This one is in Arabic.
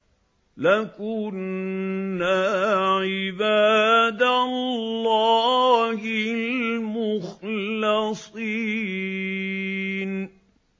لَكُنَّا عِبَادَ اللَّهِ الْمُخْلَصِينَ